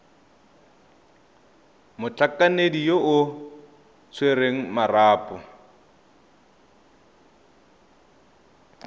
motlhankedi yo o tshwereng marapo